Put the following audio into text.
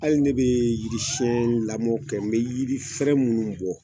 Ali ne be yiri sɛn lamɔ kɛ n be yiri fɛrɛ minnu bɔ